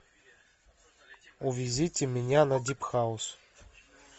увезите меня на дип хаус